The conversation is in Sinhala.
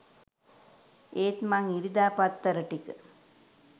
ඒත් මං ඉරිදා පත්තර ටික